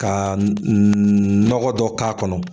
Kaa n nn nɔgɔ dɔ k'a kɔnɔ